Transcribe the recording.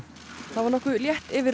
það var létt yfir